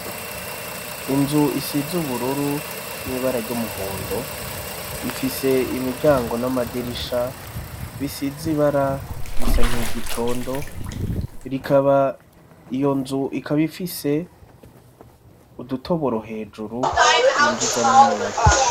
Inzu isize ubururu n'ibara ry'umuhondo ifise imiryango n'amadirisha bisize ibara risa niry'igicondo rikaba iyo nzu ikaba ifise udutoboro hejuru twinjizamwo umuyaga.